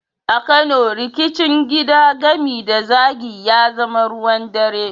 A Kano, rikicin gida, gami da zagi, ya zama ruwan dare.